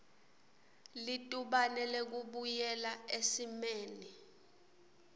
litubane lekubuyela esimeni